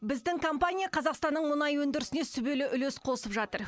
біздің компания қазақстанның мұнай өндірісіне сүбелі үлес қосып жатыр